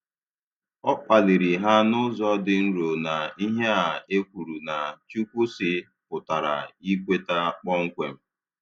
O kpaliri ha n'ụzọ dị nro na ihe a e kwuru na "Chukwu sị ' pụtara ikweta kpọmkwem